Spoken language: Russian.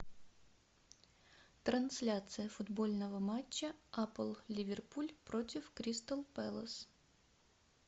трансляция футбольного матча апл ливерпуль против кристал пэлас